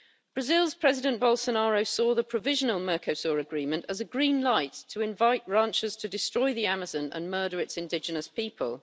Brazil's President Bolsonaro saw the provisional Mercosur agreement as a green light to invite ranchers to destroy the Amazon and murder its indigenous people.